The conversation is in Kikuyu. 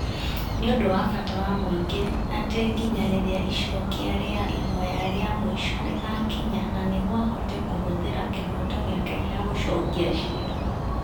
Nĩ ũndũ wa bata wa mũingĩ atĩ nginya rĩrĩa Icokia rĩa Ihoya rĩa Mũico rĩgaakinya na nĩguo ahote kũhũthĩra kĩhooto gĩake gĩa gũcokia ciira ,